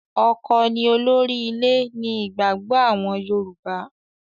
ọkọ ni olórí ilé ni ìgbàgbọ àwọn Yorùbá.